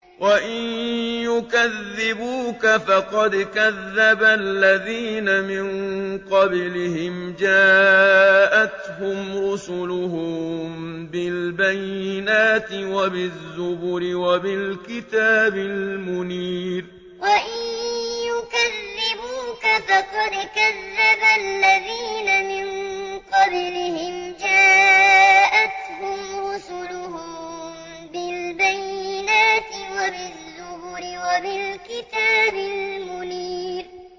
وَإِن يُكَذِّبُوكَ فَقَدْ كَذَّبَ الَّذِينَ مِن قَبْلِهِمْ جَاءَتْهُمْ رُسُلُهُم بِالْبَيِّنَاتِ وَبِالزُّبُرِ وَبِالْكِتَابِ الْمُنِيرِ وَإِن يُكَذِّبُوكَ فَقَدْ كَذَّبَ الَّذِينَ مِن قَبْلِهِمْ جَاءَتْهُمْ رُسُلُهُم بِالْبَيِّنَاتِ وَبِالزُّبُرِ وَبِالْكِتَابِ الْمُنِيرِ